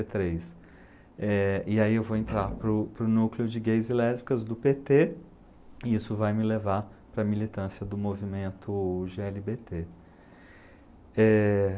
e três. Eh e aí eu vou entrar para o para o núcleo de gays e lésbicas do pê tê e isso vai me levar para a militância do movimento gê ele bê tê. Eh...